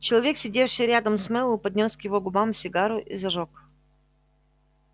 человек сидевший рядом с мэллоу поднёс к его губам сигару и зажёг